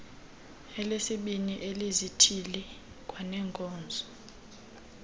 elesibini elezithili kwaneenkonzo